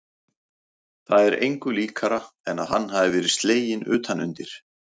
Það er engu líkara en að hann hafi verið sleginn utan undir.